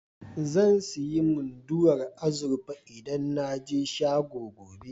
Zan sayi Munduwar azurfa idan na je shagon, gobe.